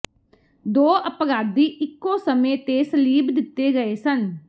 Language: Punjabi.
ਦੋ ਅਪਰਾਧੀ ਇੱਕੋ ਸਮੇਂ ਤੇ ਸਲੀਬ ਦਿੱਤੇ ਗਏ ਸਨ